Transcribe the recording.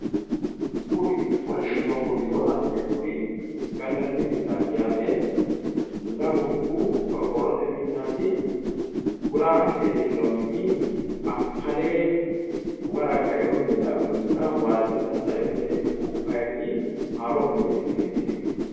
Kuri kolishsho doogo widoo la'neemmori gallanni mannati yaate. Lamunku qorqorrote minnaati. Guraa hige leellawo mini akkale uwara kainno minenna waalchono tatta'ino mineeti. Ku'u kayiinni haroo mineeti qiniitidihu.